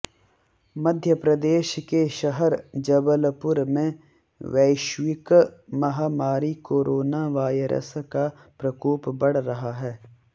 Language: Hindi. मध्यप्रदेश के शहर जबलपुर में वैश्विक महामारी कोरोना वायरस का प्रकोप बढ़ रहा है